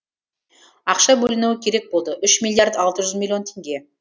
ақша бөліну керек болды үш миллиард алты жүз миллион теңге